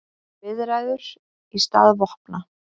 Viðræður í stað vopna